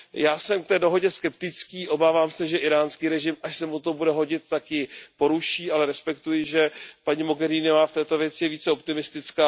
Já jsem k té dohodě skeptický, obávám se, že íránský režim, až se mu to bude hodit, tak ji poruší, ale respektuji, že je paní Mogheriniová v této věci více optimistická.